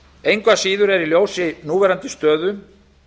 engu að síður er í ljósi núverandi stöðu